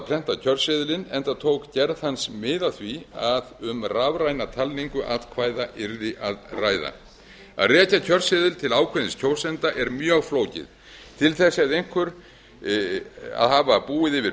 prenta kjörseðilinn enda tók gerð hans mið af því að um rafræna talningu atkvæða væri að ræða að rekja kjörseðil til ákveðins kjósanda er mjög flókið til þess þyrfti einhver að hafa búið yfir